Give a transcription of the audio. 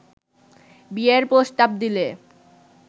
বিয়ের প্রস্তাব দিলে